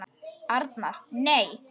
Arnar: Nei.